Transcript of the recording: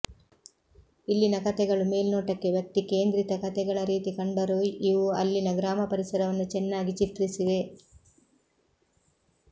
ಇಲ್ಲಿನ ಕತೆಗಳು ಮೇಲ್ನೋಟಕ್ಕೆ ವ್ಯಕ್ತಿ ಕೇಂದ್ರಿತ ಕತೆಗಳ ರೀತಿ ಕಂಡರೂ ಇವು ಅಲ್ಲಿನ ಗ್ರಾಮ ಪರಿಸರವನ್ನು ಚೆನ್ನಾಗಿ ಚಿತ್ರಿಸಿವೆ